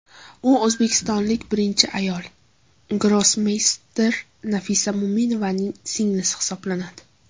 U o‘zbekistonlik birinchi ayol grossmeyster Nafisa Mo‘minovaning singlisi hisoblanadi.